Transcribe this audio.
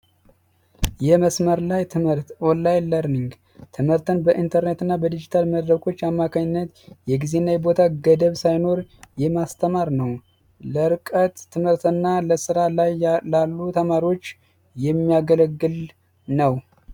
የመስመር ላይ ትምህርት ኦንላይን ለርኒንግ ትምህርትን በኢንተርኔት እና በዲጂታልና መድረኮች የጊዜና የቦታ ሳይኖር የማስተማር ነው ለርቀት ትምህርትና ለስራ ላይ ላሉ ተማሪዎች የሚያገለግል ነው።